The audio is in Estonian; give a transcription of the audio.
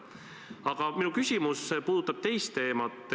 Aga minu küsimus puudutab teist teemat.